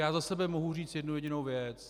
Já za sebe mohu říct jednu jedinou věc.